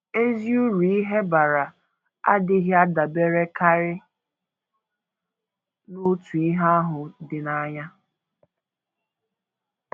EZI uru ihe bara adịghị adaberekarị n’otú ihe ahụ dị n’anya.